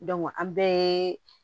an bɛɛ ye